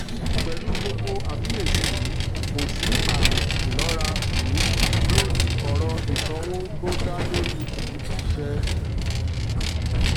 pẹlú gbogbo àfiyèsí yí kò sì àmì ìlọra um lórí ọrọ ìsanwó tó dá lórí um iṣẹ